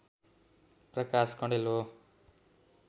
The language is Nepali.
प्रकाश कँडेल हो